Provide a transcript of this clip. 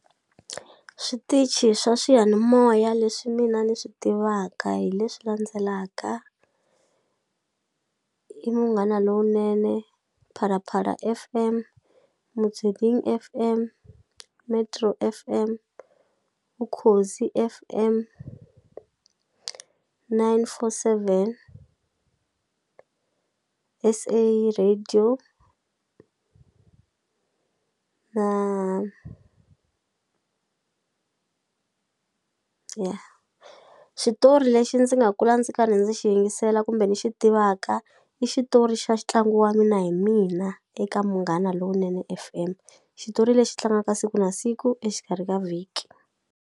Switichi swa swiyanimoya leswi mina ni swi tivaka hi leswi landzelaka i Munghana Lonene, Phalaphala F_M, Motsweding F_M, Metro F_M, Ukhozi F_M, nine four seven, S_A radio na ya xitori lexi ndzi nga kula ndzi karhi ndzi xi yingisela kumbe ni xi tivaka i xitori xa xitlangu wa Mina Hi Mina eka Munghana Lonene F_M xitori lexi tlangaka siku na siku exikarhi ka vhiki.